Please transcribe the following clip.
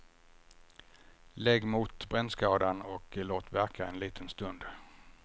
Lägg mot brännskadan och låt verka en liten stund.